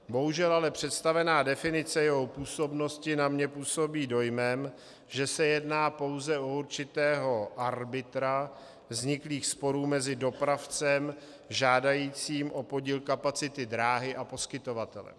Bohužel ale představená definice jeho působnosti na mě působí dojmem, že se jedná pouze o určitého arbitra vzniklých sporů mezi dopravcem žádajícím o podíl kapacity dráhy a poskytovatelem.